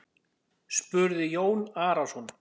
spurði Jón Arason.